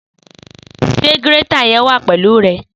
Sẹ gírẹ̀tá yén wà pẹlu ẹ?